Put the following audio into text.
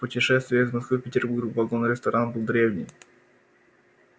путешествие из москвы в петербург вагон-ресторан был древний